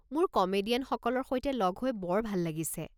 মোৰ কমেডিয়ানসকলৰ সৈতে লগ হৈ বৰ ভাল লাগিছে।